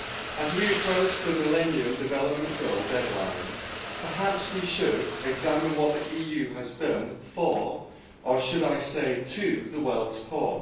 As we approach the Millennium Development Goal deadlines, perhaps we should examine what the EU has done for or should I say to the world's poor.